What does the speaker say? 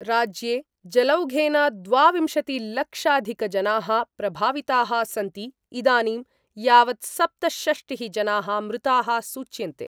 राज्ये जलौघेन द्वाविंशतिलक्षाधिकजना: प्रभाविता: सन्ति इदानीं यावत् सप्तषष्टि: जना: मृता: सूच्यन्ते।